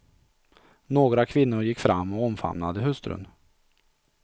Några kvinnor gick fram och omfamnade hustrun.